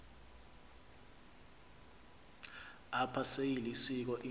apha seyilisiko into